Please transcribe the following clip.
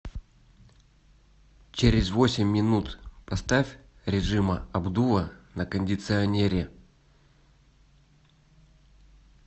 через восемь минут поставь режима обдува на кондиционере